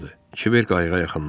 Kiber qayıqa yaxınlaşdı.